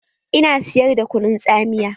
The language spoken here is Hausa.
Ina siyar da kunun tsamiya.